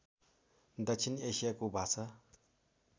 दक्षिण एसियाको भाषा